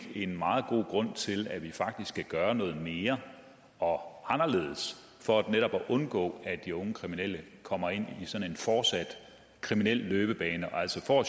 en meget god grund til at vi faktisk skal gøre noget mere og anderledes for netop at undgå at de unge kriminelle kommer ind i sådan en fortsat kriminel løbebane og altså